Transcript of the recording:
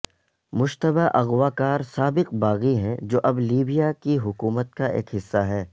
مشتبہ اغوا کار سابق باغی ہیں جو اب لیبیا کی حکومت کا ایک حصہ ہیں